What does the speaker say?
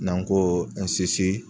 N'an ko